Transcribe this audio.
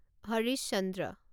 Harish Chandra